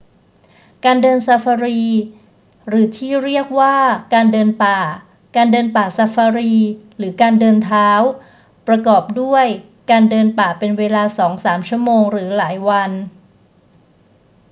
การเดินซาฟารี หรือที่เรียกว่า การเดินป่า การเดินป่าซาฟารี หรือ การเดินเท้า ประกอบด้วยการเดินป่าเป็นเวลาสองสามชั่วโมงหรือหลายวัน